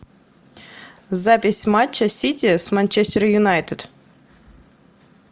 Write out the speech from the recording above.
запись матча сити с манчестер юнайтед